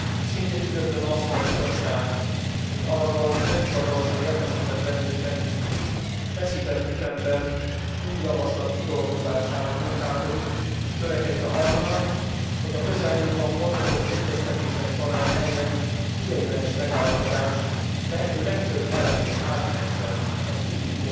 Szintén üdvözlöm azt, hogy a Bizottság mint arról nem hivatalosan értesített bennünket feszített ütemben új javaslat kidolgozásán munkálkodik, törekedve arra, hogy a közelmúltban folytatott egyeztetések során elért ideiglenes megállapodás lehető legtöbb elemét átmentse az